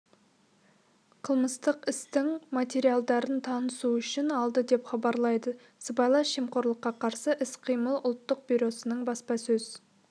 қылмыстық істің материалдарын танысу үшін алды деп хабарлайды сыбайлас жемқорлыққа қарсы іс-қимыл ұлттық бюросының баспасөз